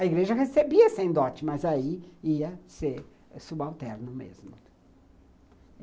A igreja recebia sem dote, mas aí ia ser subalterno mesmo.